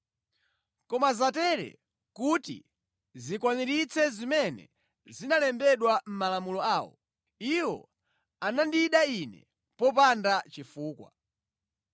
Koma zatere kuti zikwaniritse zimene zinalembedwa mʼmalamulo awo: ‘Iwo anandida Ine popanda chifukwa.’